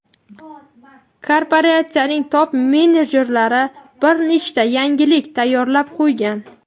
Korporatsiyaning top-menejerlari bir nechta yangilik tayyorab qo‘ygan.